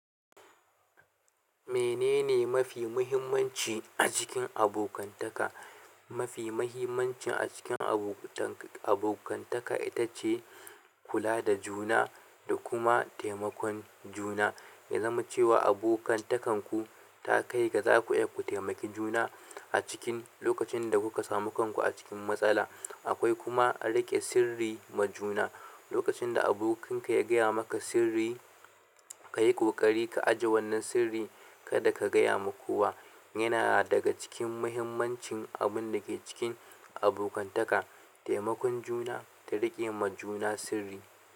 Menene mafi muhimmanci a cikin abokantaka? Mafi mahimmanci a cikin abota abokantaka ita ce kula da juna da kuma taimakon juna, ya zama cewa abokantakanku ta kai ga za ku iya taimakin juna, a cikin lokacin da kuka samu kanku a cikin matsala. Akwai kuma riƙe sirri ma juna. Lokacin da abokinka ya gaya maka sirri, ka yi ƙoƙari ka ajiye wannan sirri kada ka gaya ma kowa. Yana daga cikin mahimmancin abun da ke cikin abokantaka. Taimakon juna da riƙe ma juna sirri.